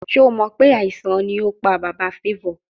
Ṣe o mọ pe aisan ni o pa baba Favour?